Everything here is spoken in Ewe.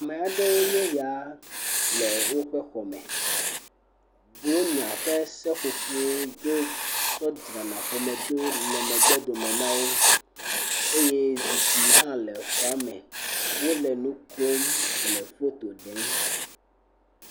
Ame aɖewo nye eya le woƒe xɔme, blonya ƒe seƒoƒo yi ke wotsɔna dzrana xɔme ɖo le megbe dome na wo, eye zikpui hã le xɔa me le foto ɖem.